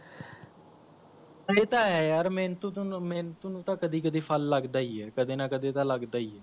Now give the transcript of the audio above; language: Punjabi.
ਏ ਤਾਂ ਹੈ ਯਾਰ ਮੇਹਨਤੂ ਮੇਹਨਤੂੰ ਨੂੰ ਤਾਂ ਕਦੀ ਕਦੀ ਫਲ ਲੱਗਦਾ ਈ ਹੈ ਕਦੇ ਨਾ ਕਦੇ ਤਾਂ ਲੱਗਦਾ ਹੀ ਹੈ